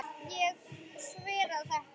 Ég sver að þetta.